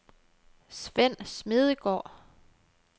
Svend Smedegaard